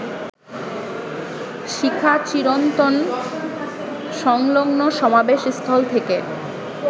শিখাচিরন্তন সংলগ্নসমাবেশস্থল থেকে